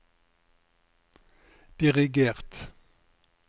dirigert